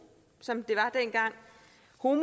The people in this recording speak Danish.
og